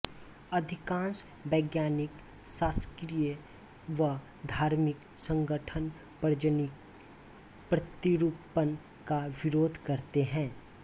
अधिकांश वैज्ञानिक शासकीय व धार्मिक संगठन प्रजननीय प्रतिरूपण का विरोध करते हैं